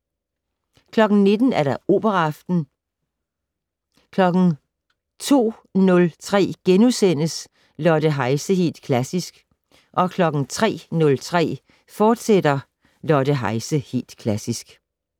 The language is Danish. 19:00: Operaaften 02:03: Lotte Heise - Helt Klassisk * 03:03: Lotte Heise - Helt Klassisk, fortsat